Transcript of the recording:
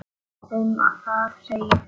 Um það segir: